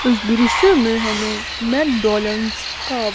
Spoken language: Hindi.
इस दृश्य में हमें मैकडॉनल्ड्स का--